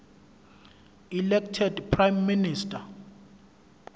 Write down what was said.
elected prime minister